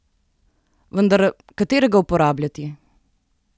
Vendar, katerega uporabljati?